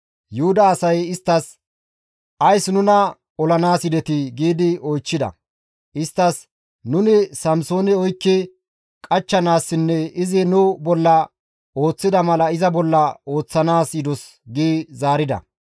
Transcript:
Yuhuda asay isttas, «Ays nuna olanaas yidetii?» giidi oychchida. Isttas, «Nuni Samsoone oykki qachchanaassinne izi nu bolla ooththida mala iza bolla ooththanaas yidos» gi zaarida.